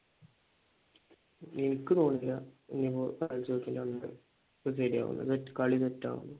എനിക്ക് തോന്നുന്നില്ല ഞങ്ങൾ ശെരിയാകുന്ന് like കളി സെറ്റ് ആകുന്ന്